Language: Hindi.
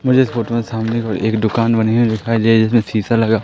मुझे इस फोटो में सामने को एक दुकान बनी हुई दिखाई दे रही जिसमें शीशा लगा--